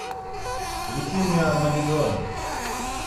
включи мне армагеддон